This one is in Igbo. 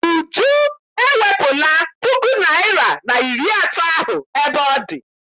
Uju ewepụla puku naịra na iri atọ ahụ ebe ọ dị.